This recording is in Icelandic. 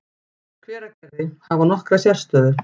Hveragerði, hafa nokkra sérstöðu.